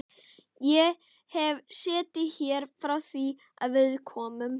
Ég hef setið hér frá því að við komum.